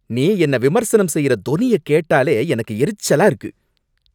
நீ என்ன விமர்சனம் செய்யற தொனிய கேட்டாலே எனக்கு எரிச்சலா இருக்கு.